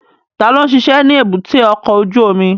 Ta ló ń ṣiṣẹ́ ní èbúté ọkọ̀ ojú omi?